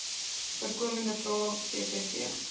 voorkomende vrae vvv